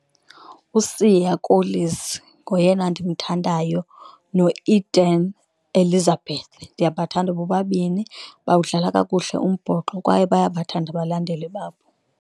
USiya Kolisi ngoyena ndimthandayo noEben Etzebeth, ndiyabathanda bobabini bawudlala kakuhle umbhoxo kwaye bayabathanda abalandeli babo.